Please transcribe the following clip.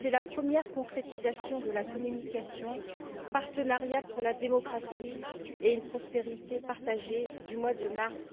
C'est la première concrétisation de la communication Partenariat pour la démocratie et une prospérité partagée du mois de mars